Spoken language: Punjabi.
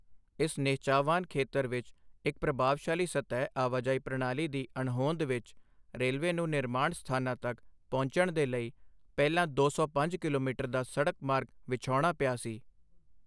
ਇਸ ਨਿਹਚਾਵਾਨ ਖੇਤਰ ਵਿੱਚ ਇੱਕ ਪ੍ਰਭਾਵਸ਼ਾਲੀ ਸਤਹ ਆਵਾਜਾਈ ਪ੍ਰਣਾਲੀ ਦੀ ਅਣਹੋਂਦ ਵਿੱਚ, ਰੇਲਵੇ ਨੂੰ ਨਿਰਮਾਣ ਸਥਾਨਾਂ ਤੱਕ ਪਹੁੰਚਣ ਦੇ ਲਈ ਪਹਿਲਾਂ ਦੋ ਸੌ ਪੰਜ ਕਿਲੋਮੀਟਰ ਦਾ ਸੜਕ ਮਾਰਗ ਵਿਛਾਉਣਾ ਪਿਆ ਸੀ।